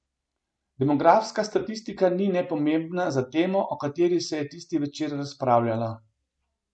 Demografska statistika ni nepomembna za temo, o kateri se je tisti večer razpravljalo.